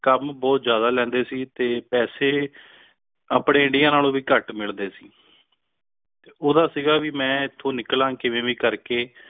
ਕੰਮ ਬੋਹਤ ਜਿਆਦਾ ਲੈਂਦੇ ਸੀ ਤੇ ਪੈਸੇ ਆਪਣੇ India ਨਾਲੋਂ ਵੀ ਘਟ ਮਿਲਦੇ ਸੀ ਓਹਦਾ ਸੀਗਾ ਵੀ ਮੈਂ ਏਥੋਂ ਨਿਕਲਾਂ ਕਿਵੇਂ ਵੀ ਕਰ ਕੇ